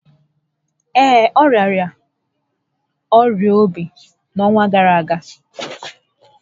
Ee, ọ rịara ọrịa óbì n'ọnwa gárá ágá